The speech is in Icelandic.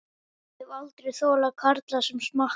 Ég hef aldrei þolað karla sem smakka.